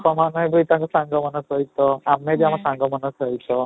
ବାପା ମାମା ବି ତାଙ୍କ ସାଙ୍ଗ ମାନଙ୍କ ସହିତ ଆମେ ଆମ ସାଙ୍ଗ ମାନଙ୍କ ସହିତ